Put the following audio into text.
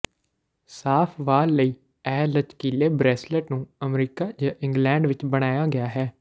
ਸਾਫ਼ ਵਾਲ ਲਈ ਇਹ ਲਚਕੀਲੇ ਬਰੇਸਲੈੱਟ ਨੂੰ ਅਮਰੀਕਾ ਜ ਇੰਗਲਡ ਵਿੱਚ ਬਣਾਇਆ ਗਿਆ ਹੈ